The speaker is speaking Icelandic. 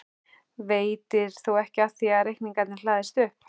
Veitir þó ekki af því reikningarnir hlaðast upp.